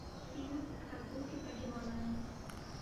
фильм прогулки по гималаям